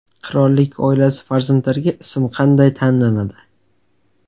Qirollik oilasi farzandlariga ism qanday tanlanadi?